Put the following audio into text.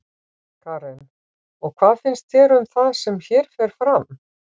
Karen: Og hvað finnst þér um það sem hér fer fram?